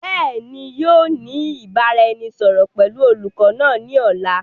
Beeni, ǹ yóò ní ìbáraẹnisọọ̀rọ̀ pẹ̀lú olùkọ́ náà ni ọ̀la.